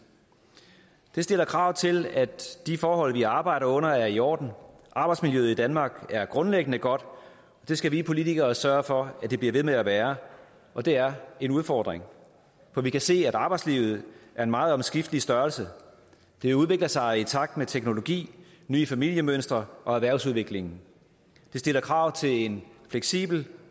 det stiller krav til at de forhold vi arbejder under er i orden arbejdsmiljøet i danmark er grundlæggende godt og det skal vi politikere sørge for at det bliver ved med at være og det er en udfordring for vi kan se at arbejdslivet er en meget omskiftelig størrelse det udvikler sig i takt med teknologien nye familiemønstre og erhvervsudviklingen det stiller krav til en fleksibel